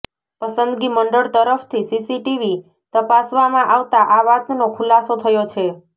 પસંદગી મંડળ તરફથી સીસીટીવી તપાસવામાં આવતા આ વાતનો ખુલાસો થયો છે